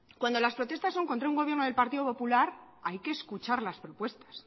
cuando las protestas son contra un gobierno del partido popular hay que escuchar las propuestas